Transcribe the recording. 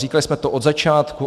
Říkali jsme to od začátku.